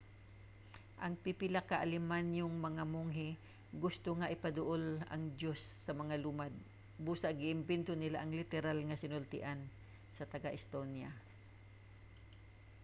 ang pipila ka alemanhong mga monghe gusto nga ipaduol ang diyos sa mga lumad busa gi-imbento nila ang literal nga sinultian sa taga-estonia